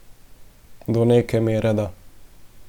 Do neke mere da.